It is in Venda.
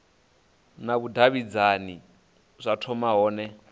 na vhudavhidzani zwa thoma hone